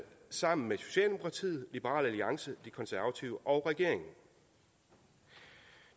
sammen med socialdemokratiet liberal alliance de konservative og regeringen